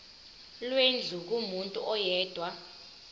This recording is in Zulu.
lwendlu kumuntu oyedwa